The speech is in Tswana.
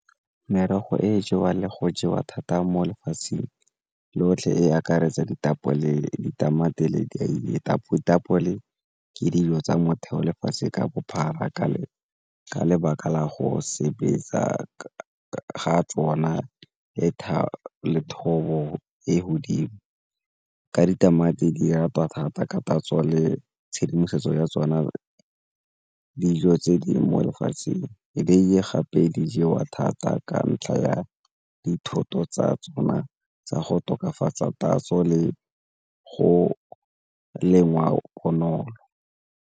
Merogo e e jewang le go jewa thata mo lefatsheng lotlhe e akaretsa ditapole, ditamati, ditapole ke dijo tsa motheo lefatshe ka bophara ka lebaka la go sebetsa ga tsona le thobo ko godimo ka ditamati di ratwa thata ka tatso le tshedimosetso ya tsona dijo tse di mo lefatsheng. Dieiye gape di jewa thata ka ntlha ya dithoto tsa tsona tsa go tokafatsa tatso le go lengwa bonolo.